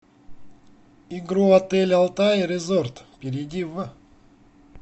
игру отель алтай резорт перейди в